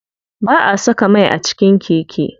Ba'a saka mai a cikin keke.